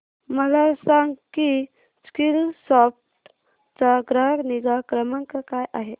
मला सांग की स्कीलसॉफ्ट चा ग्राहक निगा क्रमांक काय आहे